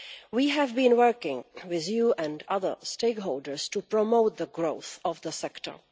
We have been working with you and other stakeholders to promote the growth of the sector.